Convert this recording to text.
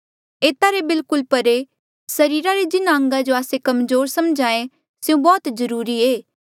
एता रे बिल्कुल परे सरीरा रे जिन्हा अंगा जो आस्से कमजोर समझ्हा ऐें स्यों बौह्त जरूरी ऐें